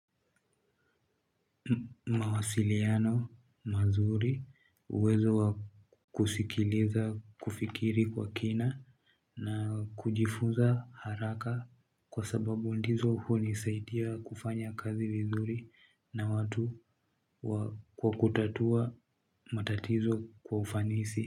Mawasiliano mazuri uwezo wa kusikiliza kufikiri kwa kina na kujifunza haraka kwa sababu ndizo hunisaidia kufanya kazi vizuri na watu kwa kutatua matatizo kwa ufanisi.